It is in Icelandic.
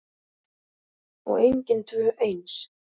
Og engin tvö eins.